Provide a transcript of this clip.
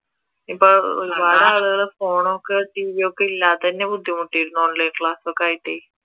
ഇപ്പൊ ഒരുപാട് ആളുകൾ phone ഒക്കെ TV ഒക്കെ ഇല്ലാതെ തന്നെ ബുദ്ധിമുട്ടിയിരുന്നു online class ഒക്കെ ആയിട്ടേ